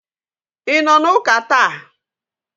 Ị nọ na Ụka ​​taa?